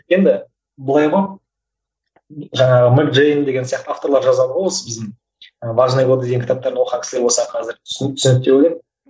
енді былай ғой жаңағы мэг джейн деген сияқты авторлар жазады ғой осы біздің важные годы деген кітаптарын оқыған кісілер болса қазір түсінеді деп ойлаймын